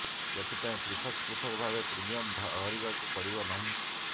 ଏଥିପାଇଁ ପୃଥକ ପୃଥକ ଭାବେ ପ୍ରିମିୟମ ଭରିବାକୁ ପଡ଼ିବ ନାହିଁ